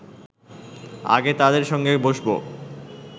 আগে তাদের সঙ্গে বসব